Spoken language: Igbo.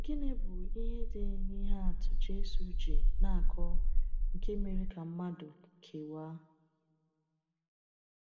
Gịnị bụ ihe dị n’ihe atụ Jésù ji na-akọ nke mere ka mmadụ kewaa?